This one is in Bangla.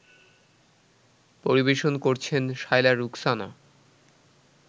পরিবেশন করছেন শায়লা রুখসানা